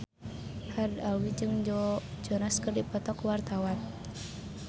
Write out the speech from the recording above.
Haddad Alwi jeung Joe Jonas keur dipoto ku wartawan